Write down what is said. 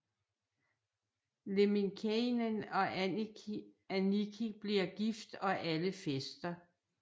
Lemminkäinen og Annikki bliver gift og alle fester